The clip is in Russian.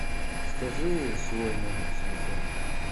скажи свой номер телефона